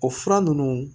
O fura ninnu